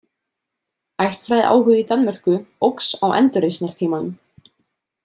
Ættfræðiáhugi í Danmörku óx á endurreisnartímanum.